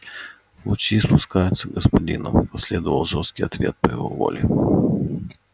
лучи испускаются господином последовал жёсткий ответ по его воле